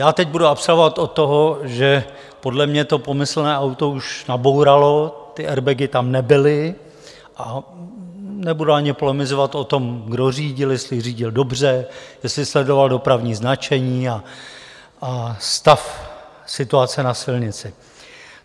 Já teď budu abstrahovat od toho, že podle mě to pomyslné auto už nabouralo, ty airbagy tam nebyly, a nebudu ani polemizovat o tom, kdo řídil, jestli řídil dobře, jestli sledoval dopravní značení a stav situace na silnici.